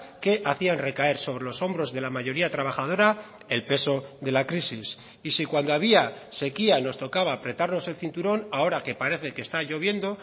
que hacían recaer sobre los hombros de la mayoría trabajadora el peso de la crisis y si cuando había sequía nos tocaba apretarnos el cinturón ahora que parece que está lloviendo